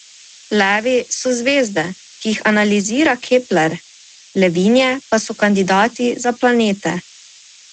Levi so zvezde, ki jih analizira Kepler, levinje pa so kandidati za planete.